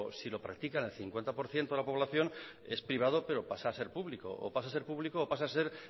si lo practican el cincuenta por ciento de la población es privado pero pasa a ser público o pasa a ser público o pasa a ser